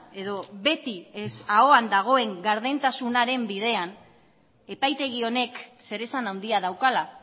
edo beti ahoan dagoen gardentasunaren bidean epaitegi honek zeresan handia daukala